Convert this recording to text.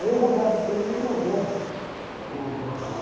Aí o me mandou para o.